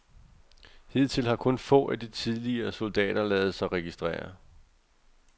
Hidtil har kun få af de tidligere soldater ladet sig registrere.